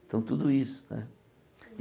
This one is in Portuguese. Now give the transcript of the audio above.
Então, tudo isso né.